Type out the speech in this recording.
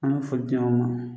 An bɛ foli ma.